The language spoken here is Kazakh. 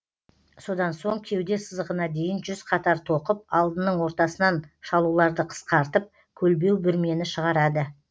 содан соң кеуде сызығына дейін жүз қатар тоқып алдының ортасынан шалуларды қысқартып көлбеу бүрмені шығарады